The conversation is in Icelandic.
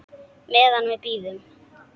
Meðan við bíðum.